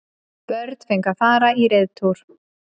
Börn fengu að fara í reiðtúr